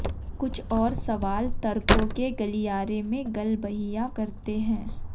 कुछ और सवाल तर्कों के गलियारे में गलबहियां करते हैं